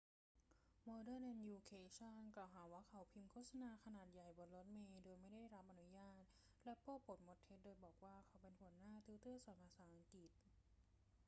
โมเดิร์นเอ็ดยูเคชัน กล่าวหาว่าเขาพิมพ์โฆษณาขนาดใหญ่บนรถเมล์โดยไม่ได้รับอนุญาตและโป้ปดมดเท็จโดยบอกว่าเขาเป็นหัวหน้าติวเตอร์สอนภาษาอังกฤษ